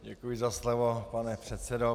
Děkuji za slovo, pane předsedo.